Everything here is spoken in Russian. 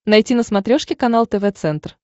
найти на смотрешке канал тв центр